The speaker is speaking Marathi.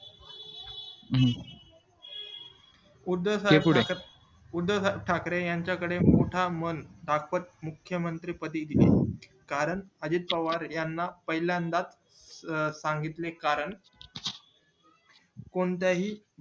उद्धव ठाकरे यांच्या कडे मोठा मन दाखवत मुख्य मंत्री पदी दिले कारण अजित पवार याना पाहिल्यान्दा अं सांगितले कारण कोणत्या हि